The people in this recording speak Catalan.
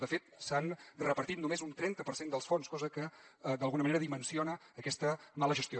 de fet s’han repartit només un trenta per cent dels fons cosa que d’alguna manera dimensiona aquesta mala gestió